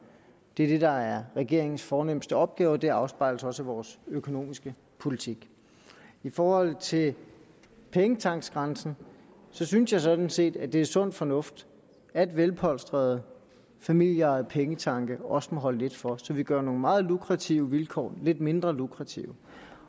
det er det der er regeringens fornemste opgave og det afspejles også af vores økonomiske politik i forhold til pengetanksgrænsen synes jeg sådan set at det er sund fornuft at velpolstrede familieejede pengetanke også må holde lidt for så vi gør nogle meget lukrative vilkår lidt mindre lukrative